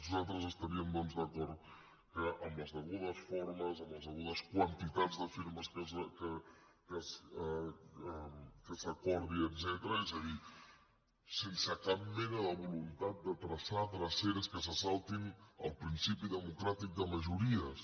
nosaltres estaríem doncs d’acord que amb les degudes formes amb les degudes quantitats de firmes que s’acordin etcètera és a dir sense cap mena de voluntat de traçar dreceres que se saltin el principi democràtic de majories